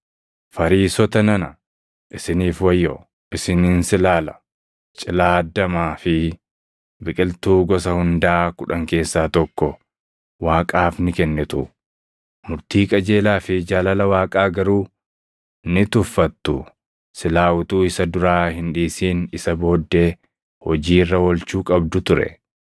“Fariisota nana isiniif wayyoo! Isin insilaala, cilaaddaamaa fi biqiltuu gosa hundaa kudhan keessaa tokko Waaqaaf ni kennitu; murtii qajeelaa fi jaalala Waaqaa garuu ni tuffattu. Silaa utuu isa duraa hin dhiisin isa booddee hojii irra oolchuu qabdu ture.